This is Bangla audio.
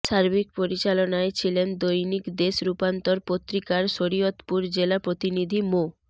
সার্বিক পরিচালনায় ছিলেন দৈনিক দেশ রূপান্তর পত্রিকার শরীয়তপুর জেলা প্রতিনিধি মো